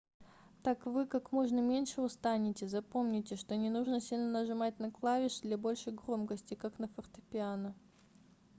так вы как можно меньше устанете запомните что не нужно сильно нажимать на клавиши для большей громкости как на фортепиано